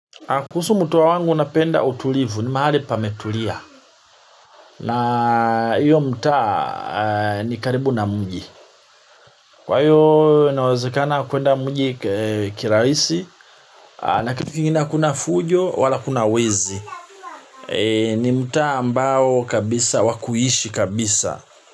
Kuhusu mtaa wangu napenda utulivu ni mahali pametulia. Na hiyo mtaa ni karibu na mji. Kwa hiyo nawezekana kuenda mji kirahisi. Na kitu kingine hakuna fujo wala hakuna wezi. Ni mtaa ambao kabisa wa kuishi kabisa.